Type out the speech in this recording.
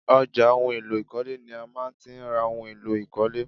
Ọjà ohun èlò ìkọ́lé ni a má ti ń ra ohun èlò ìkọ́lé